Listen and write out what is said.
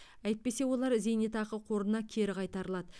әйтпесе олар зейнетақы қорына кері қайтарылады